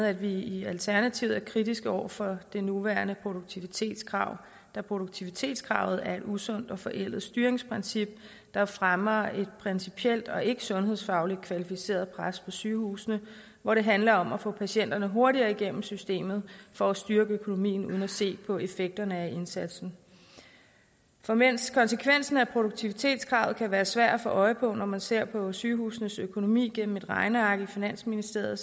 at vi i alternativet er kritiske over for det nuværende produktivitetskrav da produktivitetskravet er et usundt og forældet styringsprincip der fremmer et principielt og ikke sundhedsfagligt kvalificeret pres på sygehusene hvor det handler om at få patienterne hurtigere igennem systemet for at styrke økonomien uden at se på effekterne af indsatsen for mens konsekvensen af produktivitetskravet kan være svær at få øje på når man ser på sygehusenes økonomi gennem et regneark i finansministeriet er